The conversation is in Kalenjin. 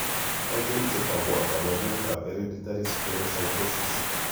Achon chetogu ak kaborunoik ab hereditary spherocytosis?